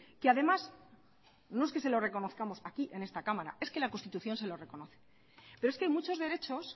que además no es que se lo reconozcamos aquí en esta cámara es que la constitución se lo reconoce pero es que hay muchos derechos